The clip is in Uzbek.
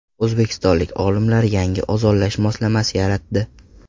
O‘zbekistonlik olimlar yangi ozonlash moslamasi yaratdi.